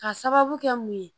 Ka sababu kɛ mun ye